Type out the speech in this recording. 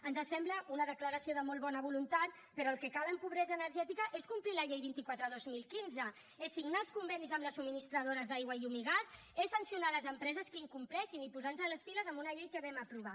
ens sembla una declaració de molt bona voluntat però el que cal en pobresa energètica és complir la llei vint quatre dos mil quinze és signar els convenis amb les subministradores d’aigua llum i gas és sancionar les empreses que ho incompleixin i posarnos les piles en una llei que vam aprovar